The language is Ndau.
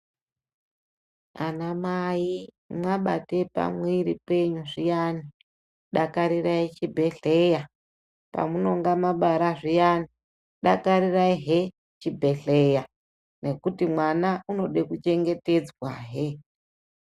Anamai mwabate pamwiri penyu zviyani dakarirai chibhehleya nepamunenga mwabara zviyani dakarirai he chibhehleya ngekuti mwana unode kuchengetedzwahe.